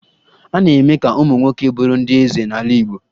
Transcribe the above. A na-eme ka ụmụ nwoke bụrụ ndị eze n'ala Igbo